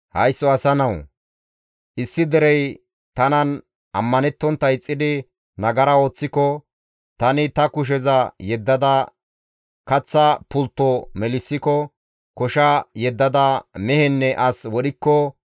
«Haysso asa nawu! Issi derey tanan ammanettontta ixxidi nagara ooththiko, tani ta kusheza yeddada kaththa pultto melissiko, kosha yeddada mehenne as wodhikko,